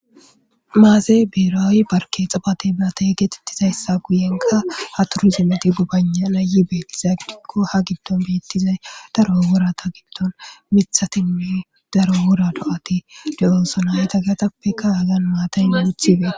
Maze berawu parke tsifate hibirete getettizayissa guyenkka turizimetti gobangha'ana yii betiza giddikko haa giddonni betizayi daro worata giddonni miththatinne daro wora do'ati de'osona.hegetappekka Hagani matayi